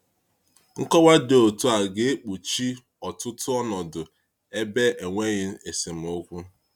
Nkowa dị otu a ga-ekpuchi ọtụtụ ọnọdụ ebe enweghị esemokwu.